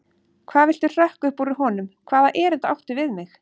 Hvað viltu hrökk upp úr honum, hvaða erindi áttu við mig?